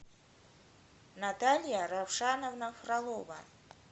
наталья равшановна фролова